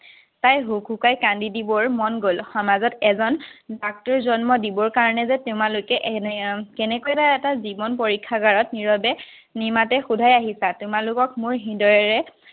তাই হুকহুকাই কান্দি দিবৰ মন গল, সমাজত এজন ডাক্তৰ জন্ম দিবৰ কাৰণে যে তোমালোকে এটা জীৱন পৰীক্ষাগাৰত নিৰৱে নিমাতে সোধাই আহিছা, তোমালোকক মই হৃদয়েৰে